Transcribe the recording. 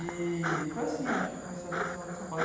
E foi assim, eu acho que eu comecei a conhecer a noite de São Paulo.